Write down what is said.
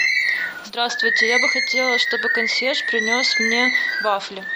здравствуйте я бы хотела чтобы консьерж принес мне вафли